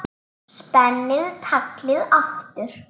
Spenni taglið aftur.